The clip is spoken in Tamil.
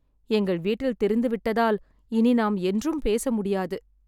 எங்கள் வீட்டில் தெரிந்துவிட்டதால் இனி நாம் என்றும் பேச முடியாது